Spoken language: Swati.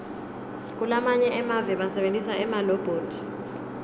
kulamanye emave basebentisa emalobhothi